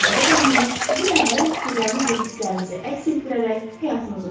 Cazibə qanunu sizin məhrəm fikirləriniz və hisslərinizi əks etdirərək həyatınızı qurur.